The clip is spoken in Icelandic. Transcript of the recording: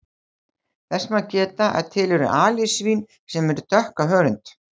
Þess má geta að til eru alisvín sem dökk á hörund.